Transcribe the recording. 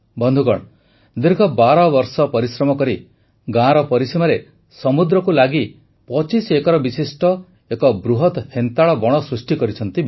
ବନ୍ଧୁଗଣ ଦୀର୍ଘ ବାରବର୍ଷ ପରିଶ୍ରମ କରି ଗାଁର ପରିସୀମାରେ ସମୁଦ୍ରକୁ ଲାଗି ପଚିଶ ଏକର ବିଶିଷ୍ଟ ଏକ ବୃହତ ହେନ୍ତାଳ ବଣ ସୃଷ୍ଟି କରିଛନ୍ତି